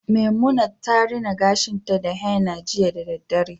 Memunant rina gashinta da henna jiya da daddare